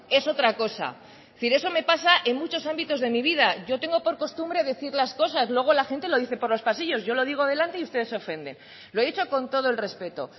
es otra cosa pero eso me pasa en muchos ámbitos de mi vida yo tengo por costumbre decir las cosas luego la gente lo dice por los pasillos yo lo digo delante y usted se ofende lo he dicho con todo el respeto